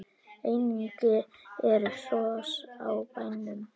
Einnig eru hross á bænum.